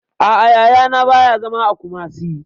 A'a, Yaya na ba ya zama a Kumasi